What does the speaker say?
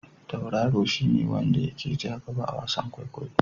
Tauraro shi ne wanda ya ke ja gaba a wasan kwaikwayo.